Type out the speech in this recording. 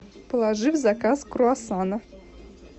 положи в заказ круассана